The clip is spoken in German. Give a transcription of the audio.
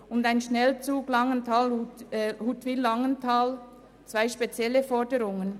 Dieser Wunsch entspricht ebenso wie derjenige nach einem Schnellzug Huttwil–Langenthal einer eher speziellen Forderung.